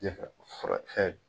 De ka furacɛ